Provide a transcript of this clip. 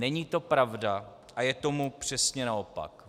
Není to pravda a je tomu přesně naopak.